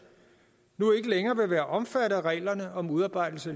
nu ikke længere vil være omfattet af reglerne om udarbejdelse